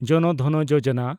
ᱡᱚᱱ ᱫᱷᱚᱱ ᱡᱳᱡᱚᱱᱟ